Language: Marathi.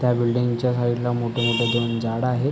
त्या बिल्डिंग च्या साइड ला मोठी मोठी दोन झाडं आहेत.